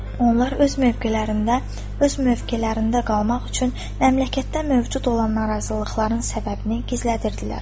Onlar öz mövqelərində qalmaq üçün məmləkətdə mövcud olan narazılıqların səbəbini gizlədirdilər.